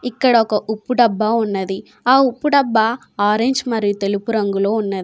ఇక్కడ ఒక ఉప్పు డబ్బా ఉన్నది. ఆ ఉప్పు డబ్బా ఆరెంజ్ మరియు తెలుపు రంగులో ఉన్నది.